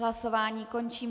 Hlasování končím.